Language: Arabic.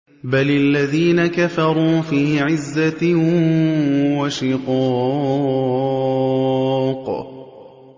بَلِ الَّذِينَ كَفَرُوا فِي عِزَّةٍ وَشِقَاقٍ